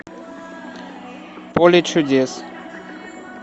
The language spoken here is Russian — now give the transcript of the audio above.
поле чудес